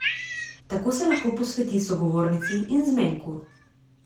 Tako se lahko posveti sogovornici in zmenku.